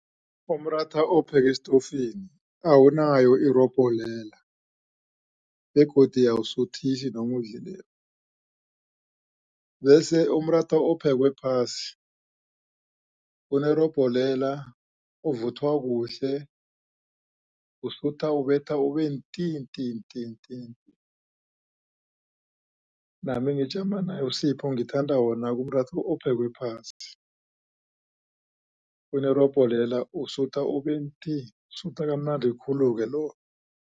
Umratha owupheke esitofini awunayo irobhelela begodu awusuthisi noma uwudlileko bese umratha ophekwe phasi unerobhelela uvuthwa kuhle usutha ubetha ube nti nti nti nami ngijama naye uSipho ngithanda wona umratha ophekwe phasi unerobhelela usutha ube nti usuhla kamnandi khulu-ke lo.